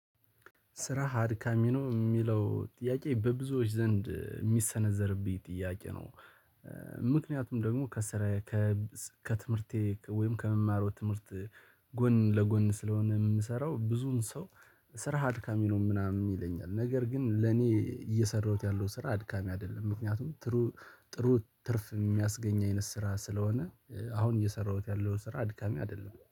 ስራ አድካሚ ነው የሚለው ጥያቄ፣ በብዙዎች ዘንድ የሚሰነዘርብኝ ጥያቄ ነው። ምክንያቱም ደግሞ ከስራ፣ ከትምህርቴ ወይም ከመደበኛ ትምህርት ጎን ለጎን ስለሆነ የምሰራው፣ ብዙኃን ሰው "ስራ አድካሚ ነው" ምናምን ይለኛል፤ ነገር ግን ለእኔ እየሰራሁት ያለው ስራ አድካሚ አይደለም፤ ምክንያቱም ጥሩ ጥሩ ትርፍ የሚያስገኝ አይነት ስራ ስለሆነ አሁን እየሰራሁት ያለው ስራ አድካሚ አይደለም።